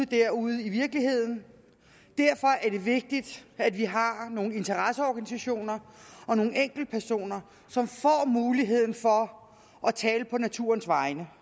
der ude i virkeligheden derfor er det vigtigt at vi har nogle interesseorganisationer og nogle enkeltpersoner som får muligheden for at tale på naturens vegne